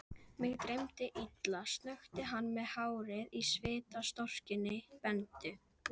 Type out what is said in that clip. Sagðist hafa haldið að drengurinn væri í kerrunni hérna niðri.